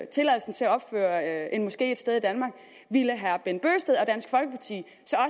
tilladelsen til at opføre en moske et sted i danmark ville herre bent bøgsted og dansk folkeparti